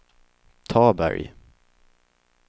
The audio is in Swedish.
Taberg